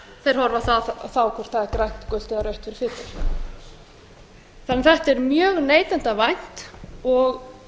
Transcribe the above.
þeir horfa á það hvort það er grænt gult eða rautt fyrir fituna þetta er mjög neytendavænt og